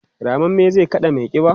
rammamme zai kada maiƙiba?